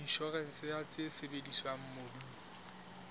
inshorense ya tse sebediswang mobung